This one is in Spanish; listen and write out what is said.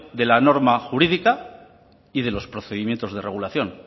de la norma jurídica y de los procedimientos de regulación